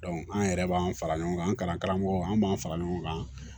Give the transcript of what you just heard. an yɛrɛ b'an fara ɲɔgɔn kan an karamɔgɔ an b'an fara ɲɔgɔn kan